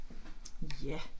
Ja